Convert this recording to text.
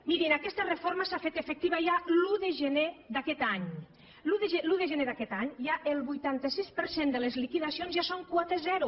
mirin aquesta reforma s’ha fet efectiva ja l’un de gener d’aquest any l’un de gener d’aquest any el vuitanta sis per cent de les liquidacions ja són quota zero